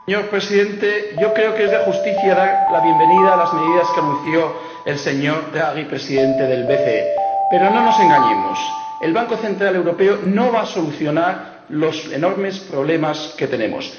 Señor Presidente, yo creo que es de justicia dar la bienvenida a las medidas que anunció el señor Draghi, presidente del BCE, pero no nos engañemos el Banco Central Europeo no va a solucionar los enormes problemas que tenemos.